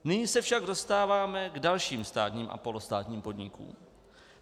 Nyní se však dostáváme k dalším státním a polostátním podnikům.